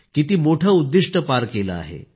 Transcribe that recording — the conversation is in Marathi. किती मोठे उद्दिष्ट पार केले आहेत